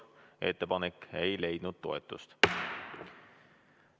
Ettepanek ei leidnud toetust.